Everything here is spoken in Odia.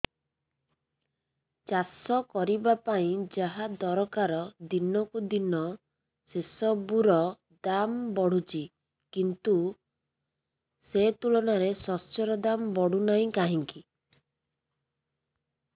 ଚାଷ କରିବା ପାଇଁ ଯାହା ଦରକାର ଦିନକୁ ଦିନ ସେସବୁ ର ଦାମ୍ ବଢୁଛି କିନ୍ତୁ ସେ ତୁଳନାରେ ଶସ୍ୟର ଦାମ୍ ବଢୁନାହିଁ କାହିଁକି